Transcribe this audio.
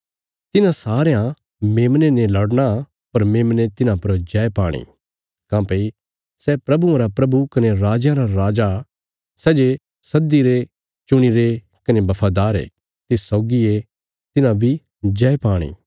तिन्हां सारयां मेमने ने लड़ना पर मेमने तिन्हां पर जय पाणी काँह्भई सै प्रभुआं रा प्रभु कने राजयां रा राजा सै जे सद्दीरे चुणीरे कने बफादार ये तिस सौगी ये तिन्हां बी जय पाणी